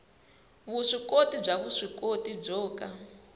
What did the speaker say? vuswikoti bya vuswikoti byo ka